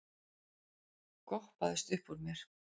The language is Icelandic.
goppaðist uppúr mér.